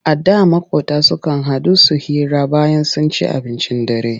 A da maƙota sukan haɗu su hira bayan sun ci abincin dare tare.